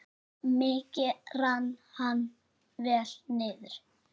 Mikið rann hann vel niður.